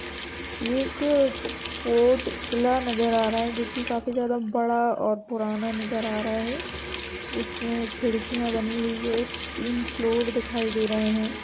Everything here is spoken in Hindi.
ये एक फोर्ट किला नजर आ रहा है जो की काफी ज्यादा बड़ा और पुराना नजर आ रहा है । जिसमे खिड़कियाँ बनी हुई है। तीन फ्लोर दिखाई दे रहे हैं ।